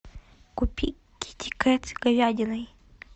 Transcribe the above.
купи китикет с говядиной